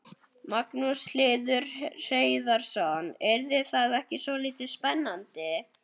Magnús Hlynur Hreiðarsson: Yrði það ekki svolítið spennandi?